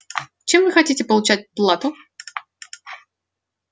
чем вы хотите получать плату